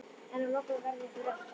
En að lokum verður ykkur refsað.